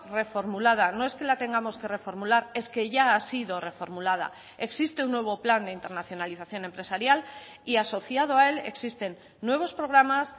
reformulada no es que la tengamos que reformular es que ya ha sido reformulada existe un nuevo plan de internacionalización empresarial y asociado a él existen nuevos programas